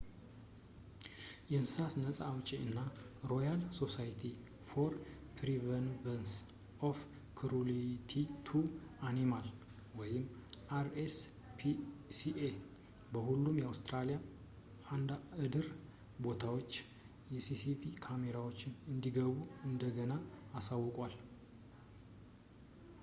የእንስሳት ነፃ አውጭ እና ሮያል ሶሳይቲ ፎር ፕሪቨንሽን ኦፍ ክሩሊቲ ቱ አኒማልስ አር.ኤስ.ፒ.ሲ.ኤ በሁሉም የአውስትራሊያ የእርድ ቦታዎች የሲሲቲቪ ካሜራዎች እንዲገቡ እንደገና አሳውቀዋል